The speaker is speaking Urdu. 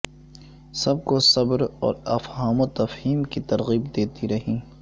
سب کو صبر اور افہام و تفہیم کی ترغیب دیتی رہیں